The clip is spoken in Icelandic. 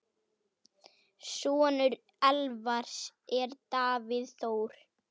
Sonur Elvars er Davíð Þór.